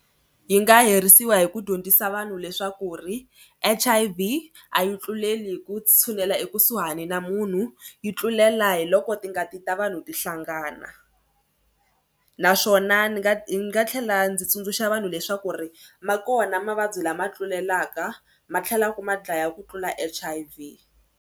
Yi nga herisiwa hi ku dyondzisa vanhu leswaku ri H_I_V a yi tluleli hi ku tshunela ekusuhani na munhu. Yi tlulela hi loko tingati ta vanhu ti hlanganisa naswona ni nga ni nga tlhela ndzi tsundzuxa vanhu leswaku ri ma kona mavabyi lama tlulelaka ma tlhela ma dlaya ku tlula H_I_V.